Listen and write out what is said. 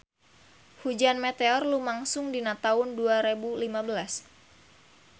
Hujan meteor lumangsung dina taun dua rebu lima belas